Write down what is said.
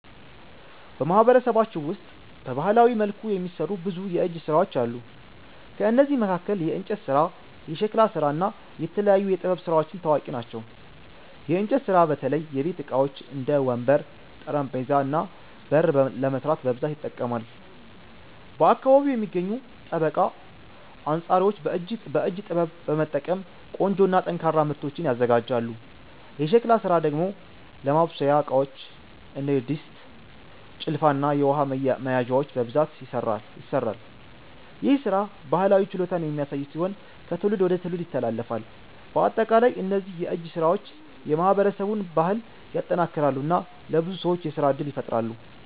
በማህበረሰባችን ውስጥ በባህላዊ መልኩ የሚሠሩ ብዙ የእጅ ሥራዎች አሉ። ከእነዚህ መካከል የእንጨት ስራ፣ የሸክላ ስራ እና የተለያዩ የጥበብ ስራዎች ታዋቂ ናቸው። የእንጨት ስራ በተለይ የቤት ዕቃዎች እንደ ወንበር፣ ጠረጴዛ እና በር ለመስራት በብዛት ይጠቀማል። በአካባቢው የሚገኙ ጠበቃ አንጻሪዎች በእጅ ጥበብ በመጠቀም ቆንጆ እና ጠንካራ ምርቶችን ያዘጋጃሉ። የሸክላ ስራ ደግሞ ለማብሰያ ዕቃዎች እንደ ድስት፣ ጭልፋ እና የውሃ መያዣዎች በብዛት ይሠራል። ይህ ሥራ ባህላዊ ችሎታን የሚያሳይ ሲሆን ከትውልድ ወደ ትውልድ ይተላለፋል። በአጠቃላይ እነዚህ የእጅ ሥራዎች የማህበረሰቡን ባህል ያጠናክራሉ እና ለብዙ ሰዎች የሥራ እድል ይፈጥራሉ።